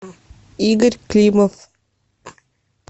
игорь климов